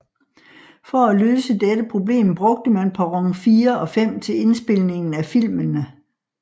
For at løse dette problem brugte man perron 4 og 5 til indspilningen af filmene